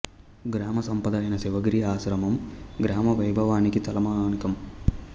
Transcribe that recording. గ్రామ సంపద అయిన శివగిరి ఆశ్రమం గ్రామ వైభవానికి తలమానికం